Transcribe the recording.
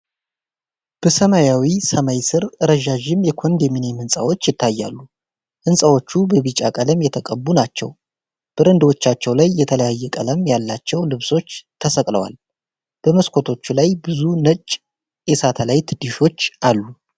በሰማያዊ ሰማይ ስር ረዣዥም የኮንዶሚኒየም ሕንፃዎች ይታያሉ። ሕንፃዎቹ በቢጫ ቀለም የተቀቡ ናቸው፣ በረንዳዎቻቸው ላይ የተለያየ ቀለም ያላቸው ልብሶች ተሰቅለዋል። በመስኮቶቹ ላይ ብዙ ነጭ የሳተላይት ዲሾች አሉ።